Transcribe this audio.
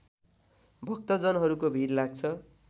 भक्तजनहरूको भिड लाग्छ